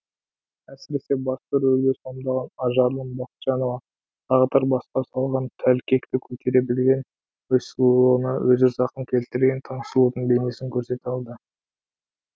әсіресе басты рөлді сомдаған ажарлым бақытжанова тағдыр басқа салған тәлкекті көтере білген өз сұлулығына өзі зақым келтірген таңсұлудың бейнесін көрсете алды